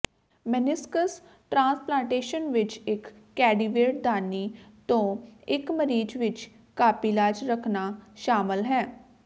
meniscus transplantation ਵਿਚ ਇਕ ਕੈਡੀਵੈਂਡ ਦਾਨੀ ਤੋਂ ਇਕ ਮਰੀਜ਼ ਵਿਚ ਕਾਪੀਲਾਜ ਰੱਖਣਾ ਸ਼ਾਮਲ ਹੈ